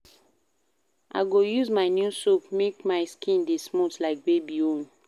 I go use my new soap make my skin dey smooth like baby own.